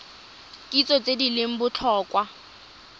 kitso tse di leng botlhokwa